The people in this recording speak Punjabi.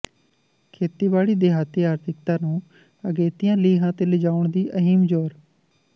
ਖੇਤੀਬਾੜੀ ਦਿਹਾਤੀ ਆਰਥਿਕਤਾ ਨੂੰ ਅਗੇਤੀਆਂ ਲੀਹਾਂ ਤੇ ਲਿਜਾਉਣ ਲਈ ਅਹਿਮ ਜੋਰ